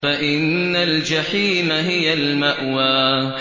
فَإِنَّ الْجَحِيمَ هِيَ الْمَأْوَىٰ